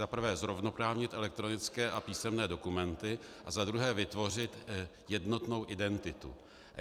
Za prvé zrovnoprávnit elektronické a písemné dokumenty a za druhé vytvořit jednotnou identitu.